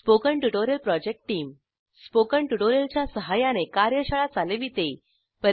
spoken tutorial project team spoken tutorial च्या सहाय्याने कार्यशाळा चालविते